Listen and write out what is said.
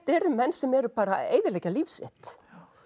eru menn sem eru bara að eyðileggja líf sitt